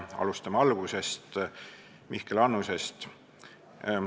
Alustame algusest, Mihkel Annusest.